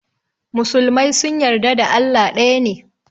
Musulmai sun yarda da Allah ɗaya ne.